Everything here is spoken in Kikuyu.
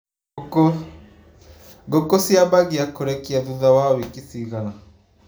Ngũkũ ciambagia kũrekia tutha wa wiki cigana.